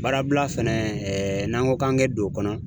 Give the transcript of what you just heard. Baarabila fɛnɛ n'an ko k'an be don o kɔnɔ.